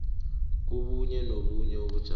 kobunye nobunye ubujamo